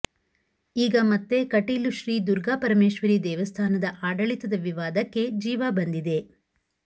ಈಗ ಮತ್ತೆ ಕಟೀಲು ಶ್ರೀದುರ್ಗಾಪರಮೇಶ್ವರಿ ದೇವಸ್ಥಾನದ ಆಡಳಿತದ ವಿವಾದಕ್ಕೆ ಜೀವ ಬಂದಿದೆ